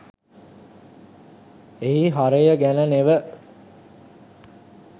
එහි හරය ගැන නෙව